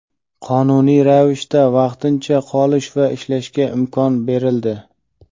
qonuniy ravishda vaqtincha qolish va ishlashga imkon berildi.